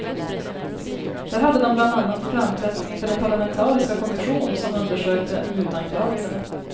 Där hade de bland annat framträtt inför den parlamentariska kommission som undersökte mutanklagelserna.